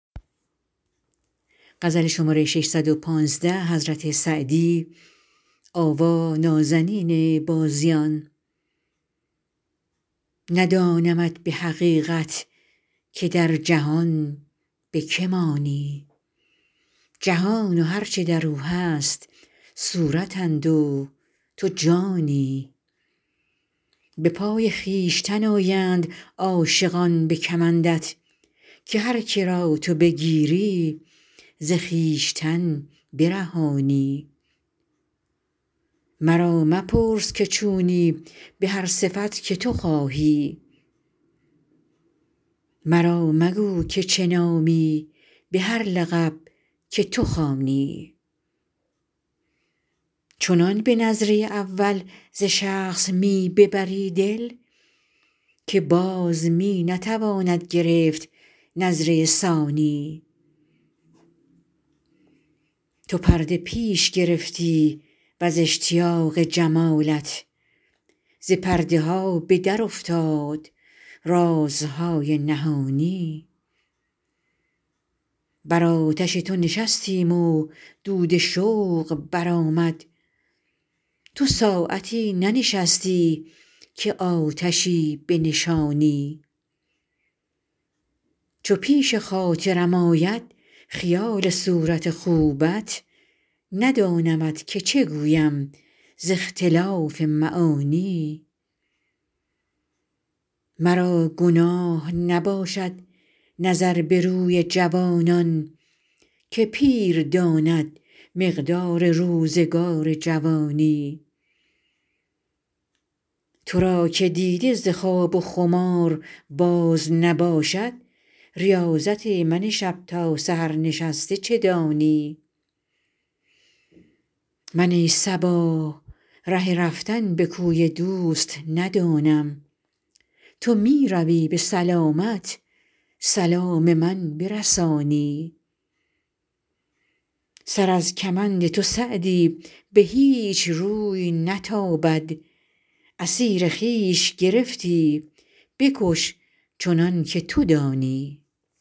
ندانمت به حقیقت که در جهان به که مانی جهان و هر چه در او هست صورتند و تو جانی به پای خویشتن آیند عاشقان به کمندت که هر که را تو بگیری ز خویشتن برهانی مرا مپرس که چونی به هر صفت که تو خواهی مرا مگو که چه نامی به هر لقب که تو خوانی چنان به نظره اول ز شخص می ببری دل که باز می نتواند گرفت نظره ثانی تو پرده پیش گرفتی و ز اشتیاق جمالت ز پرده ها به درافتاد رازهای نهانی بر آتش تو نشستیم و دود شوق برآمد تو ساعتی ننشستی که آتشی بنشانی چو پیش خاطرم آید خیال صورت خوبت ندانمت که چه گویم ز اختلاف معانی مرا گناه نباشد نظر به روی جوانان که پیر داند مقدار روزگار جوانی تو را که دیده ز خواب و خمار باز نباشد ریاضت من شب تا سحر نشسته چه دانی من ای صبا ره رفتن به کوی دوست ندانم تو می روی به سلامت سلام من برسانی سر از کمند تو سعدی به هیچ روی نتابد اسیر خویش گرفتی بکش چنان که تو دانی